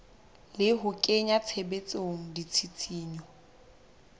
le ho kenya tshebetsong ditshisinyo